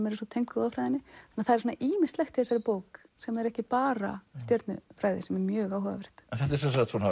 eru svo tengd goðafræðinni það er ýmislegt í þessari bók sem er ekki bara stjörnufræði sem er mjög áhugavert þetta eru